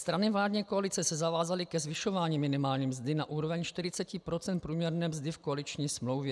Strany vládní koalice se zavázaly ke zvyšování minimální mzdy na úroveň 40 % průměrné mzdy v koaliční smlouvě.